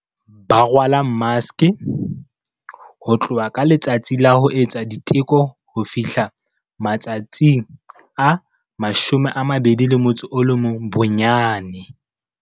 Ba rwala maske, ho tloha ka letsatsi la ho etsa diteko ho fihla matsatsi a 21 bonyane.